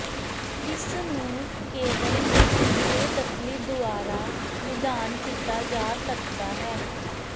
ਇਸ ਨੂੰ ਕੇਵਲ ਬੇਦਖਲੀ ਦੁਆਰਾ ਨਿਦਾਨ ਕੀਤਾ ਜਾ ਸਕਦਾ ਹੈ